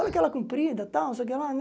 Olha aquela comprida, tal, não sei o que lá, né?